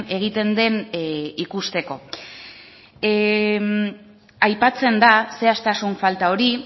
egiten den ikusteko aipatzen da zehaztasun falta hori